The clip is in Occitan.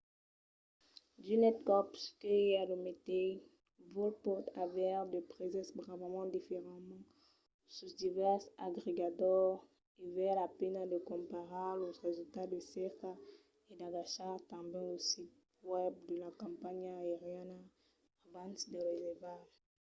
d'unes còps que i a lo meteis vòl pòt aver de prèses bravament diferents sus divèrses agregadors e val la pena de comparar los resultats de cerca e d'agachar tanben lo sit web de la companhiá aeriana abans de reservar